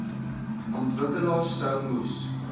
ontwikkelaars sou moes